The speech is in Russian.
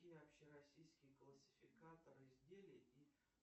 какие общероссийские классификаторы изделий и